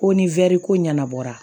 Ko ni ko ɲɛnabɔra